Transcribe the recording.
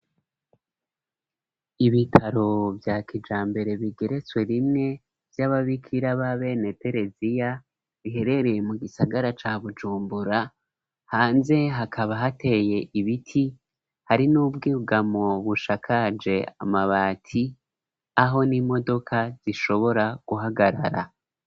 Ibitaro bya kijambere bigeretswe rimwe vy'ababikira ba Bene Tereziya biherereye mu gisagara ca Bujumbura hanze hakaba hateye ibiti hari n'ubwigamu bushakaje amabati aho n'imodoka zishobora guhagarara.